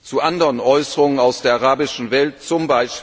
zu anderen Äußerungen aus der arabischen Welt, z.